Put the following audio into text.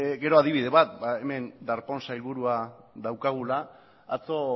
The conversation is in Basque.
gero adibide bat hemen darpón sailburua daukagula atzo